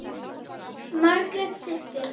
Margrét systir.